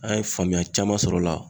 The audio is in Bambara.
An ye faamuya caman sɔr'o la